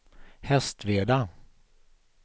Hästveda